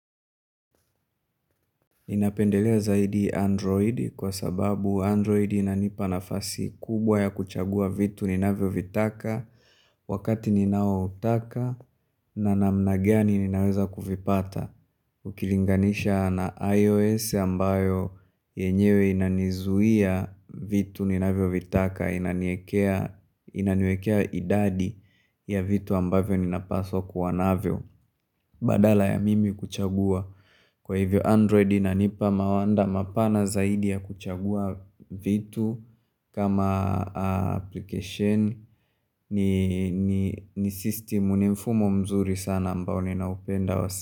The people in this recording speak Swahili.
Ninapendelea zaidi Android kwa sababu Android inanipa nafasi kubwa ya kuchagua vitu ninavyovitaka wakati ninaoutaka na namna gani ninaweza kuvipata Ukilinganisha na iOS ambayo yenyewe inanizuia vitu ninavyovitaka inaniwekea inaniwekea idadi ya vitu ambavyo ninapaswa kuwa navyo Badala ya mimi kuchagua kwa hivyo Android inanipa mawanda mapana zaidi ya kuchagua vitu kama application ni system ni mfumo mzuri sana ambao ninaupenda.